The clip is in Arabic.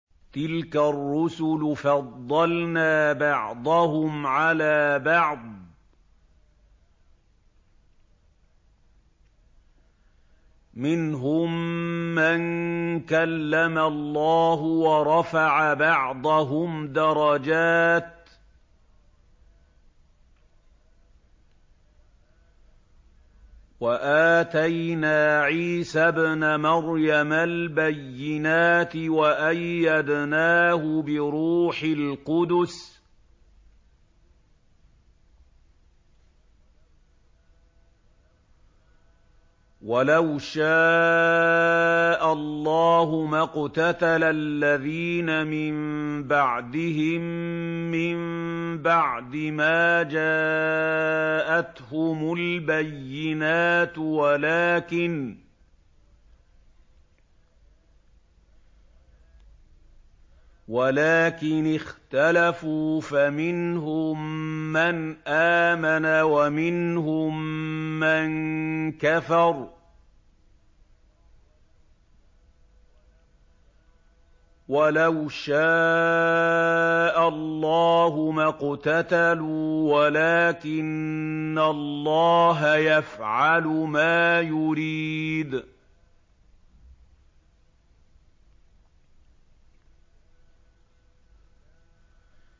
۞ تِلْكَ الرُّسُلُ فَضَّلْنَا بَعْضَهُمْ عَلَىٰ بَعْضٍ ۘ مِّنْهُم مَّن كَلَّمَ اللَّهُ ۖ وَرَفَعَ بَعْضَهُمْ دَرَجَاتٍ ۚ وَآتَيْنَا عِيسَى ابْنَ مَرْيَمَ الْبَيِّنَاتِ وَأَيَّدْنَاهُ بِرُوحِ الْقُدُسِ ۗ وَلَوْ شَاءَ اللَّهُ مَا اقْتَتَلَ الَّذِينَ مِن بَعْدِهِم مِّن بَعْدِ مَا جَاءَتْهُمُ الْبَيِّنَاتُ وَلَٰكِنِ اخْتَلَفُوا فَمِنْهُم مَّنْ آمَنَ وَمِنْهُم مَّن كَفَرَ ۚ وَلَوْ شَاءَ اللَّهُ مَا اقْتَتَلُوا وَلَٰكِنَّ اللَّهَ يَفْعَلُ مَا يُرِيدُ